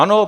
Ano.